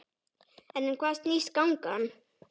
En um hvað snýst gangan?